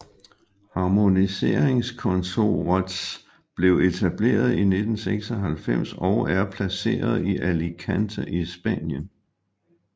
Harmoniseringskontorets blev etableret i 1996 og er placeret i Alicante i Spanien